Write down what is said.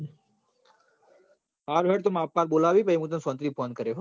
હારું હેડ માર અપા હાલ બોલાવી હી પહી હુતન સોન્તી થી phone કરું